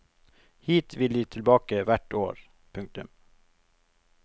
Hit vil de tilbake hvert år. punktum